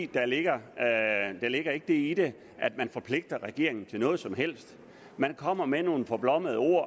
der ligger ikke det i den at man forpligter regeringen til noget som helst man kommer med nogle forblommede ord